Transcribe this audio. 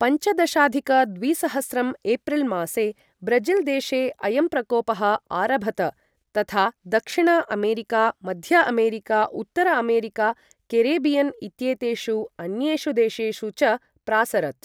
पञ्चदशाधिक द्विसहस्रं एप्रिल् मासे ब्रज़िल् देशे अयं प्रकोपः आरभत, तथा दक्षिण अमेरिका, मध्य अमेरिका, उत्तर अमेरिका, केरिबियन् इत्येतेषु अन्येषु देशेषु च प्रासरत्।